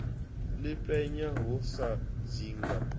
ḽi penya ho sa dzinga